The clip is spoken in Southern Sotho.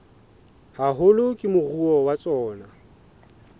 haholo ke moruo wa tsona